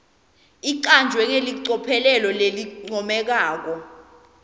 icanjwe ngelicophelo lelincomekako